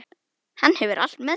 Hann hefur allt með sér.